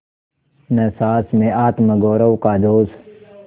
न सास में आत्मगौरव का जोश